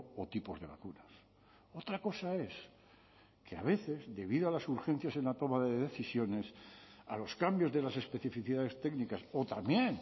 o tipos de vacunas otra cosa es que a veces debido a las urgencias en la toma de decisiones a los cambios de las especificidades técnicas o también